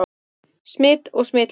Smit og smitleiðir